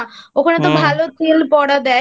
ওখানে তো ভালো কুল পোড়া দেয়।